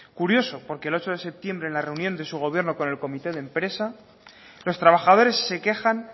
curioso porque el ocho de septiembre en la reunión de su gobierno con el comité de empresa los trabajadores se quejan